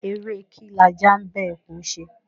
Eré e kí lajá ḿ bá ẹkùn ṣe?